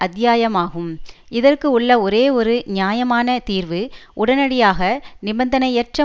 அத்தியாயமாகும் இதற்கு உள்ள ஒரே ஒரு நியாயமான தீர்வு உடனடியாக நிபந்தனையற்ற